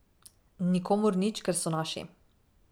Nikomur nič, ker so naši.